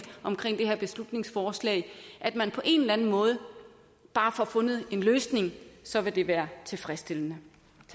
om det her beslutningsforslag at man på en eller anden måde bare får fundet en løsning så vil det være tilfredsstillende